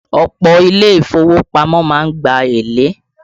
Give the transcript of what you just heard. Ọ̀pọ̀ Ilé ìfowópamọ́ má ń gba èlé